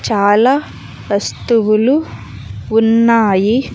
చాలా వస్తువులు ఉన్నాయి.